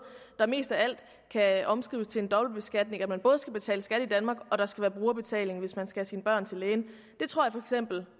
der mest af alt kan omskrives til en dobbeltbeskatning altså at man både skal betale skat i danmark og at der skal være brugerbetaling hvis man skal have sine børn til lægen det tror